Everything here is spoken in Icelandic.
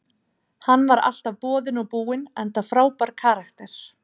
Hann var alltaf boðinn og búinn enda frábær karakter.